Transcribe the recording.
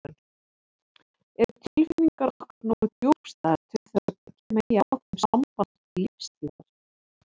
Eru tilfinningar okkar nógu djúpstæðar til þess að byggja megi á þeim samband til lífstíðar?